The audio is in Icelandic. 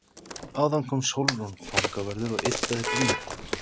Áðan kom Sólrún fangavörður og yddaði blýantinn.